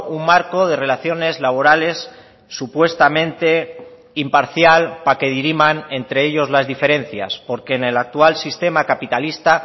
un marco de relaciones laborales supuestamente imparcial para que diriman entre ellos las diferencias porque en el actual sistema capitalista